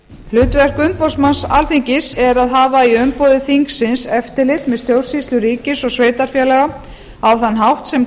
hlutverk umboðsmanns alþingis er að hafa í umboði þingsins eftirlit með stjórnsýslu ríkis og sveitarfélaga á þann hátt sem